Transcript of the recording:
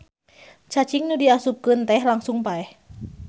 Cacing nu diasupkeun teh langsung paeh.